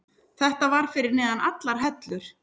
Þetta var fyrir neðan allar hellur.